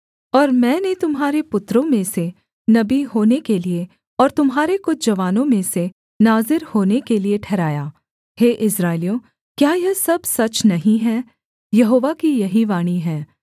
और मैंने तुम्हारे पुत्रों में से नबी होने के लिये और तुम्हारे कुछ जवानों में से नाज़ीर होने के लिये ठहराया हे इस्राएलियों क्या यह सब सच नहीं है यहोवा की यही वाणी है